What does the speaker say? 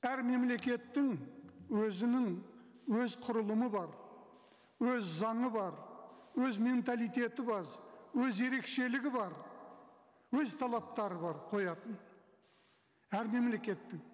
әр мемлекеттің өзінің өз құрылымы бар өз заңы бар өз менталитеті өз ерекшелігі бар өз талаптары бар қоятын әр мемлекеттің